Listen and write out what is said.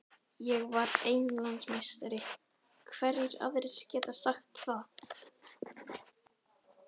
Ég var Englandsmeistari, hverjir aðrir geta sagt það?